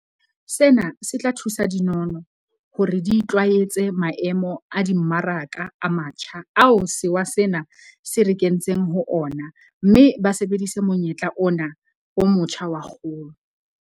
Sena se tla thusa dinono hore di itlwaetse maemo a dimmaraka a matjha ao sewa sena se re kentseng ho ona mme ba sebedise monyetla ona o motjha wa kgolo.